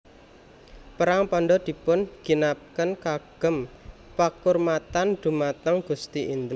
Perang pandhan dipun ginakaken kagem pakurmatan dumateng Gusti Indra